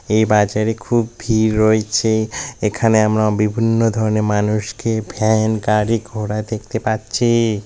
এই বাজারে খুব ভিড় রয়েছে এখানে আমরা বিভিন্ন ধরনের মানুষকে ভ্যান গাড়ি ঘোড়া দেখতে পাচ্ছি--